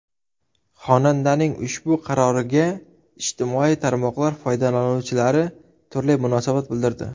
Xonandaning ushbu qaroriga ijtimoiy tarmoqlar foydalanuvchilari turli munosabat bildirdi.